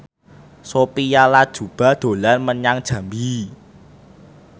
Sophia Latjuba dolan menyang Jambi